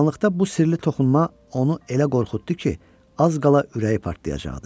Qaranlıqda bu sirli toxunma onu elə qorxutdu ki, az qala ürəyi partlayacaqdı.